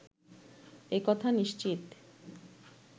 একথা নিশ্চিত